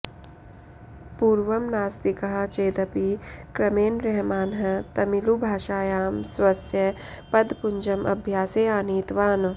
पूर्वं नास्तिकः चेदपि क्रमेण रहमानः तमिळुभाषायां स्वस्य पदपुञ्जम् अभ्यासे आनीतवान्